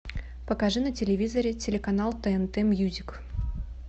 покажи на телевизоре телеканал тнт мьюзик